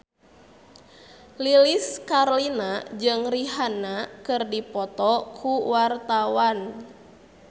Lilis Karlina jeung Rihanna keur dipoto ku wartawan